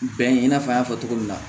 Bɛn i n'a fɔ an y'a fɔ cogo min na